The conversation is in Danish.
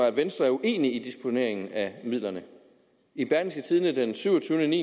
at venstre er uenig i disponeringen af midlerne i berlingske tidende den syvogtyvende